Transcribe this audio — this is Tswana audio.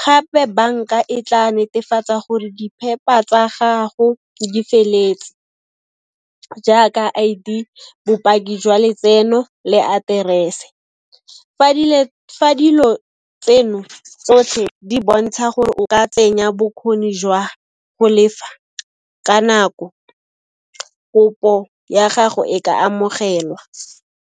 Gape banka e tla netefatsa gore tsa gago di feletse, jaaka I_D, bopaki jwa letseno le aterese. Fa dilo tseno tsotlhe di bontsha gore o ka tsenya bokgoni jwa go lefa ka nako, kopo ya gago e ka amogelwa.